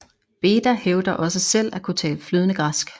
Beda hævder også selv at kunne tale flydende græsk